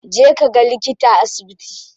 Je kaga likita a asibiti.